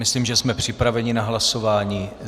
Myslím, že jsme připraveni na hlasování.